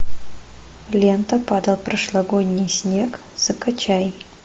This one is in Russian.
лента падал прошлогодний снег закачай